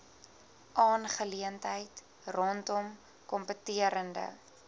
aangeleentheid rondom kompeterende